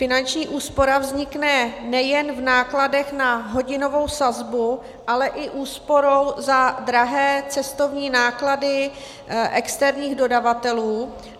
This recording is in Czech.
Finanční úspora vznikne nejen v nákladech na hodinovou sazbu, ale i úsporou za drahé cestovní náklady externích dodavatelů.